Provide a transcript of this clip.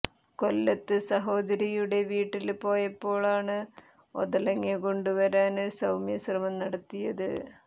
കൊല്ലത്ത് സഹോദരിയുടെ വീട്ടില് പോയപ്പോഴാണ് ഒതളങ്ങ കൊണ്ടു വരാന് സൌമ്യ ശ്രമം നടത്തിയത്